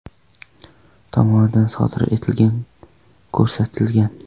tomonidan sodir etilgani ko‘rsatilgan.